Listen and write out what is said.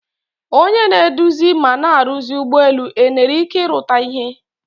Onye na-edozi ma na-arusi ụgbọelu enere ike ịrụta ihea?